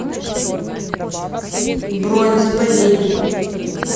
бронь заповедник